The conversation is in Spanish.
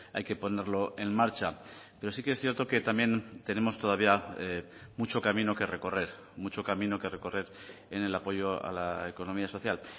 hay que ponerlo en marcha pero sí que es cierto que también tenemos todavía mucho camino que recorrer mucho camino que recorrer en el apoyo a la economía social